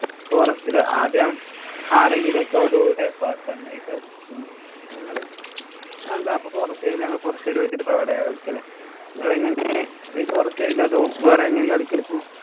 forest ഇല്. ആദ്യം ആരെങ്കിലും ഇപ്പൊ ഞങ്ങള് എന്താ forest കാരോട് ചോദിച്ചിട്ട് ഇപ്പൊ അവിടെയാ കളിക്കല്. നിങ്ങളെങ്ങനെ ഈ forest ഇലോ അതോ വേറെങ്ങനെയാ കളിക്കല് ഇപ്പം.